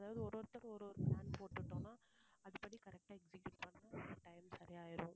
அதாவது ஒவ்வொருத்தர் ஒவ்வொரு plan போட்டுட்டோம்னா அது படி correct ஆ execute பண்ணினா time சரியாயிடும்